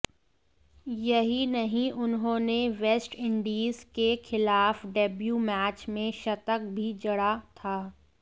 यहीं नहीं उन्होंने वेस्टइंडीज के खिलाफ डेब्यू मैच में शतक भी जड़ा था